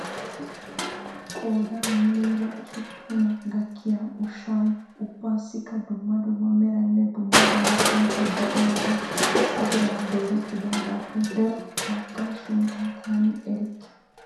Qoodan muleera hospuna gakkiya ushshay ubbassikka dumma dumma meraynne dumma dumma sunttay de'iyoogee issi diran doorettidaagappe daro baggaa sunttaa taani erikke.